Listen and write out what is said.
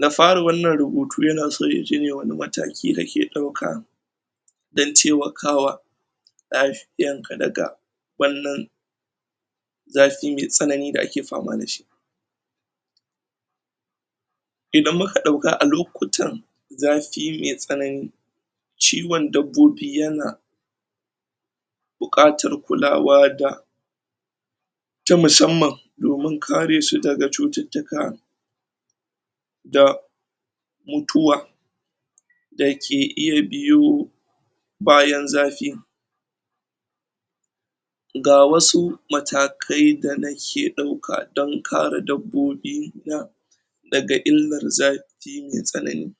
Na fari wannan rubutu ya na so ya je yayi wani mataki da ke dauka dan taimakawa lafiyar ka daga wannan zafi me tsanani da ake fama dashi idan mu ka dauka a lokutan zafi me tsanani ciwon dabobi ya na bukatar kulawa da ta musamman domin kare su da ga cututtuka da mutuwa da ke iya biyo bayan zafi ga wasu matakai da na ke dauka don kare dabobi na da ga illar zafi me sanani.